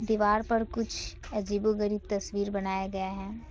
दीवार पर कुछ अजीब ओ गरीब तस्वीर बनाया गया है।